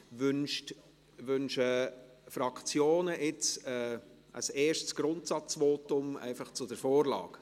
Wünschen die Fraktionen jetzt ein erstes Grundsatzvotum zu halten, einfach zur Vorlage?